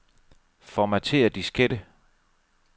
Formatér diskette.